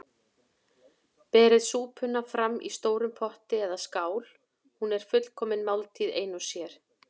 Berið súpuna fram í stórum potti eða skál- hún er fullkomin máltíð ein og sér.